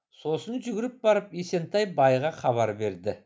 сосын жүгіріп барып есентай байға хабар берді